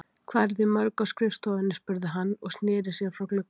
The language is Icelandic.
Hvað eruð þið mörg á skrifstofunni? spurði hann og sneri sér frá glugganum.